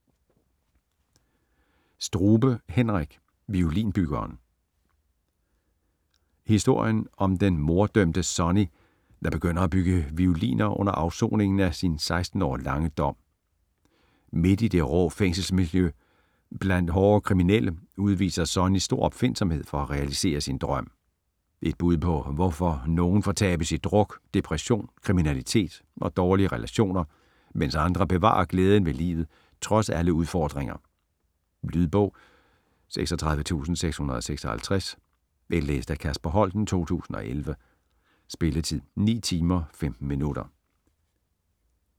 Strube, Henrik: Violinbyggeren Historien om den morddømte Sonny, der begynder at bygge violiner under afsoningen af sin 16 år lange dom. Midt i det rå fængselsmiljø, blandt hårde kriminelle, udviser Sonny stor opfindsomhed for at realisere sin drøm. Et bud på hvorfor nogen fortabes i druk, depression, kriminalitet og dårlige relationer, mens andre bevarer glæden ved livet trods alle udfordringer. Lydbog 36656 Indlæst af Kasper Holten, 2011. Spilletid: 9 timer, 15 minutter.